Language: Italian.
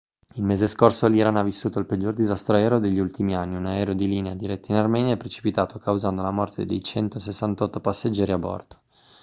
il mese scorso l'iran ha vissuto il peggior disastro aereo degli ultimi anni un aereo di linea diretto in armenia è precipitato causando la morte dei 168 passeggeri a bordo